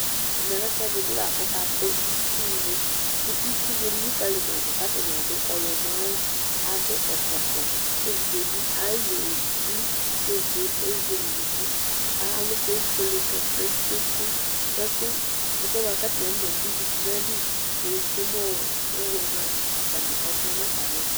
Ɛmɛlɛ ɛfʋɛdi bi lakʋ ɔkatɛ itsuwʋ kʋ itsu ni elikali madʋ kʋ atani adʋ ɔyɔmɔawʋ adʋ ɛkɔtɔ kʋ evidze bi ayu elʋ evi kʋ evidze ezele unukʋ kʋ alʋkʋ efuele kayi plem plem plem kʋ ɛkʋɛ bʋaka atani akɔna dʋ ivi nʋ ayi yɔtsʋe nʋ ʋwʋ yɛ mʋa atani ɔvlɛ nʋ atami ɛtʋ